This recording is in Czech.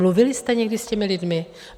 Mluvili jste někdy s těmi lidmi?